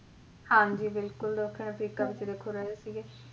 ਹਾਂਜੀ ਬਿਲਕੁਲ ਦੱਖਣ ਅਫਰੀਕਾ ਵਿੱਚ ਦੇਖੋ ਰਹੇ ਸੀਗੇ।